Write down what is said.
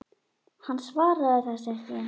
Hann svaraði þessu ekki.